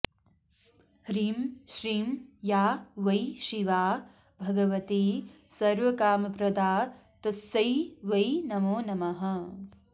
ह्रीं श्रीं या वै शिवा भगवती सर्वकामप्रदा तस्यै वै नमो नमः